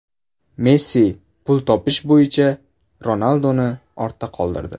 Messi pul topish bo‘yicha Ronalduni ortda qoldirdi.